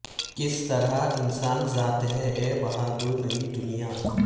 کس طرح انسان ذات ہے اے بہادر نئی دنیا